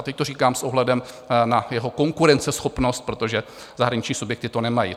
A teď to říkám s ohledem na jeho konkurenceschopnost, protože zahraniční subjekty to nemají.